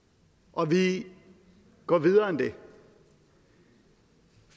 og vi går videre end det